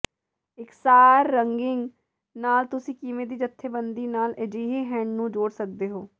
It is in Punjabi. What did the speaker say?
ਇਕਸਾਰ ਰੰਗਿੰਗ ਨਾਲ ਤੁਸੀਂ ਕਿਸੇ ਵੀ ਜਥੇਬੰਦੀ ਨਾਲ ਅਜਿਹੇ ਹੈਂਡ ਨੂੰ ਜੋੜ ਸਕਦੇ ਹੋ